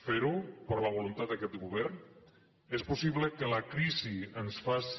fer ho per la voluntat d’aquest govern és possible que la crisi ens faci